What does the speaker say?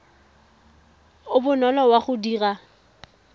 o bonolo wa go dira